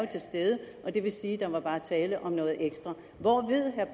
til stede og det vil sige at der bare var tale om noget ekstra